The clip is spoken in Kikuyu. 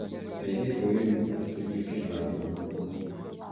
Airĩtu a yunibathitĩ mekĩraga nguo nguhĩ